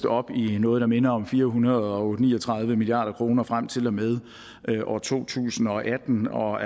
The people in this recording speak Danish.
op i noget der minder om fire hundrede og ni og tredive milliard kroner frem til og med år to tusind og atten og